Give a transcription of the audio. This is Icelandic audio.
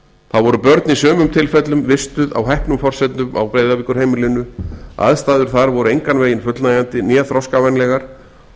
þá voru börn í sumum tilfellum vistuð á hæpnum grundvelli á breiðavíkurheimilinu aðstæður þar voru engan veginn fullnægjandi né þroskavænlegar og